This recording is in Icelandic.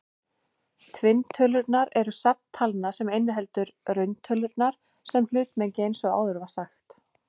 Tvinntölurnar eru safn talna sem inniheldur rauntölurnar sem hlutmengi eins og áður var sagt.